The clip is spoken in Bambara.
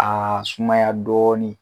Aa sumaya dɔɔnin